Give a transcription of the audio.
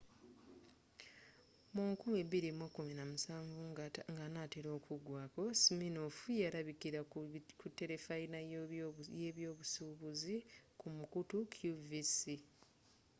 mu 2017 nga anaatera okugwako siminoff ya labikira ku terefayina ye byobusuubuzi ku mukutu qvc